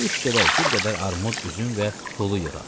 Düş gedək, bir qədər armud, üzüm və hulu yığaq.